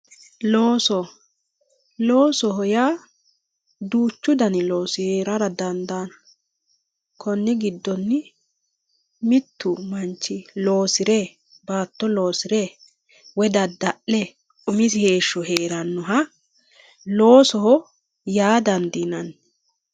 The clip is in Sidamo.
looso loosoho yaa duchu dani loosi herara dandano koni gidonni mittu manchi losire bato loosire woyi dadale umisi hesho heranoha loosoho ya dandinanni